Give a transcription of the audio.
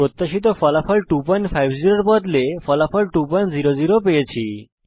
প্রত্যাশিত ফলাফল 250 এর পরিবর্তে ফলাফল 200 রূপে প্রদর্শিত হয়েছে